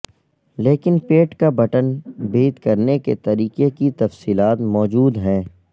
لیکن پیٹ کا بٹن بید کرنے کے طریقے کی تفصیلات موجود ہیں